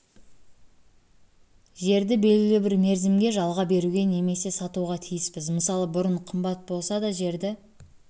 жерді белгілі бір мерзімге жалға беруге немесе сатуға тиіспіз мысалы бұрын қымбат болса да жерді